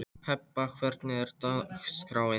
Hebba, hvernig er dagskráin?